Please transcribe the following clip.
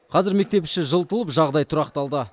қазір мектеп іші жылтылып жағдай тұрақталды